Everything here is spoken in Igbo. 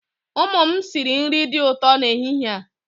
Ụmụ m sịrị nri dị ụtọ n'ehihie a.